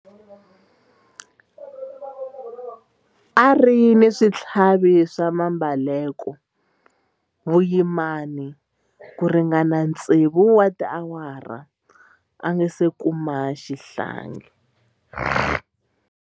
A ri na switlhavi swa mbeleko vuyimani ku ringana tsevu wa tiawara a nga si kuma xihlangi.